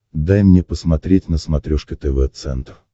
дай мне посмотреть на смотрешке тв центр